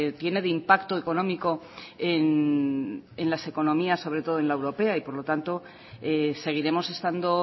tiene de impacto económico en las economías sobre todo en la europea y por lo tanto seguiremos estando